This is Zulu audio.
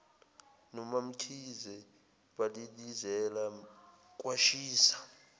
nomamkhize balilizela kwashisa